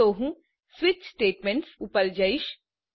તો હું switch statements ઉપર જઈશ